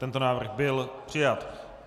Tento návrh byl přijat.